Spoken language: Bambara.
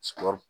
Sura